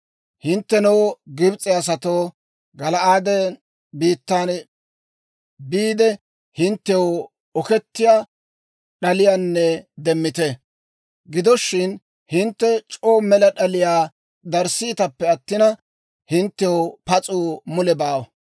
Hinttenoo, Gibs'e asatoo, Gala'aade biittaa biide, hinttew okettiyaa d'aliyaa demmite. Gido shin, hintte c'oo mela d'aliyaa darissiitappe attina, hinttew pas'uu mule baawa.